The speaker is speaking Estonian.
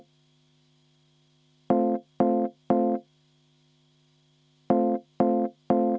Aitäh!